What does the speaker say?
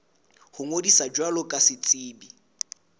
ho ngodisa jwalo ka setsebi